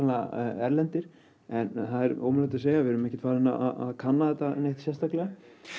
erlendir en það er ómögulegt að segja við erum ekki farin að kanna þetta sérstaklega